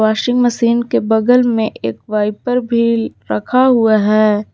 Washing machine के बगल में एक वाइपर भी रखा हुआ है।